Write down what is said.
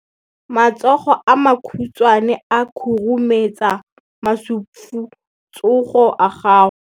Matsogo a makhutshwane a khurumetsa masufutsogo a gago.